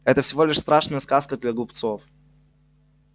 это всего лишь страшная сказка для глупцов